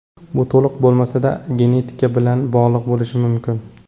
Bu, to‘liq bo‘lmasa-da, genetika bilan bog‘liq bo‘lishi mumkin.